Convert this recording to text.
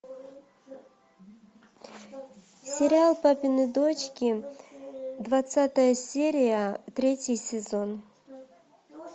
сериал папины дочки двадцатая серия третий сезон